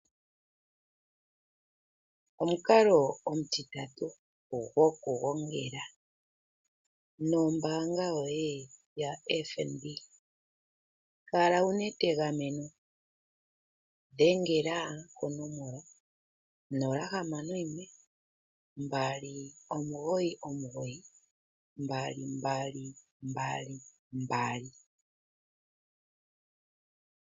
Omukalo omutitatu goku gongela nombaanga yoye yaFNB. Kala wuna etegameno, tu dhengela konomola 0612992222.